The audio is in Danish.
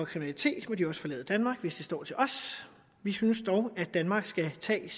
kriminalitet må de også forlade danmark hvis det står til os vi synes dog at danmark skal tage